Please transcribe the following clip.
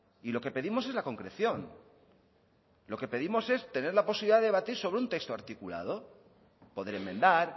y lo que pedimos es la concreción lo que pedimos es tener la posibilidad de debatir sobre un texto articulado poder enmendar